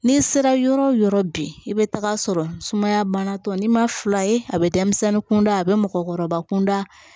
N'i sera yɔrɔ o yɔrɔ bi i bɛ taa sɔrɔ sumaya banatɔ n'i ma fila ye a bɛ denmisɛnnin kunda a bɛ mɔgɔkɔrɔba kunda